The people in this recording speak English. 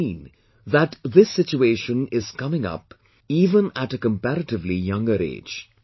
It is seen, this situation is coming up even at a comparatively younger age